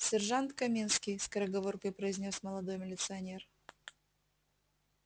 сержант каминский скороговоркой произнёс молодой милиционер